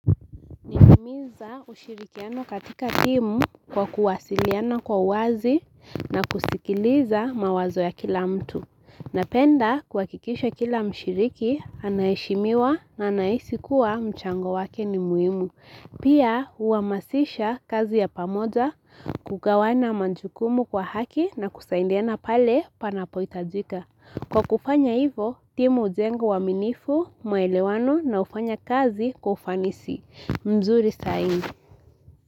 Ninahimiza ushirikiano katika timu kwa kuwasiliana kwa uwazi na kusikiliza mawazo ya kila mtu napenda kuhakikisha kila mshiriki, anaheshimiwa na anahisi kuwa mchango wake ni muhimu. Pia huamasisha kazi ya pamoja kugawana majukumu kwa haki na kusaidiana pale panapo hitajika. Kwa kufanya hivyo, timu hujengo wa uaminifu maelewano na ufanya kazi kwa kufanisi mzuri zaidi.